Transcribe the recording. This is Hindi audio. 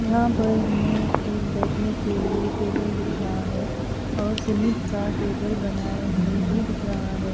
यहां पे हमें एक बैठने के लिए टेबल दिखा है और सीमित का टेबल बनाए हुए भी दिख रहा है।